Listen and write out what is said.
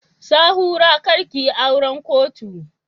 Sahura kar ki yi auran kotu!